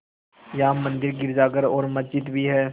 यहाँ मंदिर गिरजाघर और मस्जिद भी हैं